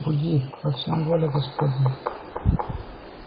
буди во всем воля господня